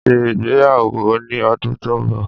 N ó ṣe ìgbéyàwó ní ọdún tó ń bọ̀